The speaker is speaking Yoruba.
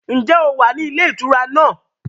Ǹjẹ́ o wà ní ilé ìtura náà?